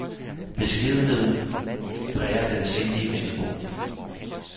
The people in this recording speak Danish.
Beskedenheden præger den sindige vendelbo.